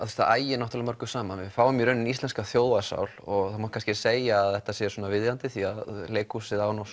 það ægir mörgu saman við fáum í rauninni íslenska þjóðarsál og það má kannski segja að þetta sé viðeigandi því að leikhúsið á